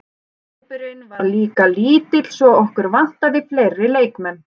Hópurinn var líka lítill svo okkur vantaði fleiri leikmenn.